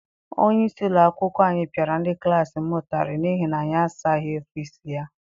Onyeisi ụlọakwụkwọ anyị piara ndị klassi m ụtarị n'ihi na anyị azaghị ọfịịsi ya.